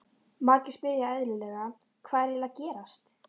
Margir spyrja eðlilega, Hvað er eiginlega að gerast?